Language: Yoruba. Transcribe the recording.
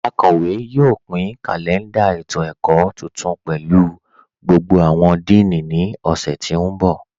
Akọwe náà yóò pin kalẹ̀ndà ètò-ẹ̀kọ̀ tuntun pẹ̀lú gbogbo awọn díìní ni ọ̀ṣẹ̀ tí n bọ.